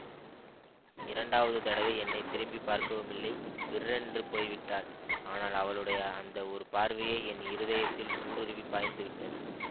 இரண்டாவது தடவை என்னை திரும்பி பார்க்கவுமில்லை விர்ரென்று போய்விட்டாள் ஆனால் அவளுடைய அந்த ஒரு பார்வையே என் இருதயத்தில் ஊடுருவி பாய்ந்து விட்டது